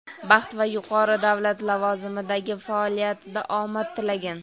baxt va yuqori davlat lavozimidagi faoliyatida omad tilagan.